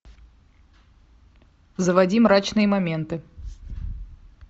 заводи мрачные моменты